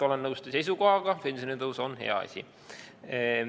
Olen nõus teie seisukohaga – pensionitõus on hea asi.